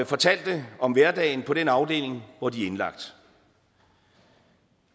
fortalte om hverdagen på den afdeling hvor de er indlagt